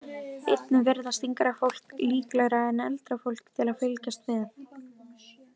Einnig virðast yngra fólk líklegra en eldra fólk til að fylgjast með.